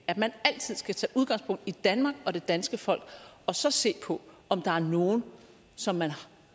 at man altid skal tage udgangspunkt i danmark og det danske folk og så se på om der er nogle som man